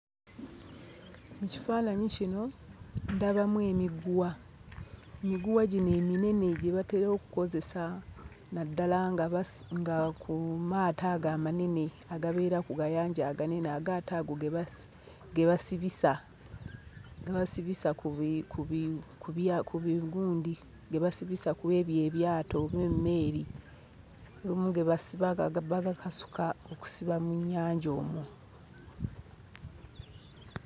Mu kifaananyi kino ndabamu emiguwa, emiguwa gino eminene gye batera okukozesa naddala nga basi nga ku maato ago amanene agabeera ku gayanja aganene. Agaato ago ge basi ge basibisa. Ge basibisa ku bi ku bi ku bigundi, ge basibisa ku ebyo ebyato oba emmeeri. Olumu ge basiba bagakasuka okusiba mu nnyanja omwo.